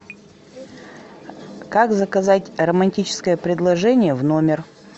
как заказать романтическое предложение в номер